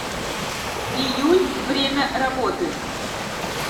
июнь время работы